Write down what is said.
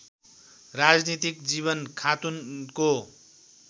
राजनीतिक जीवन खातुनको